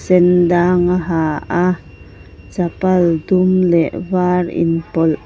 sen dang a ha a chapal dum leh var inpawlh --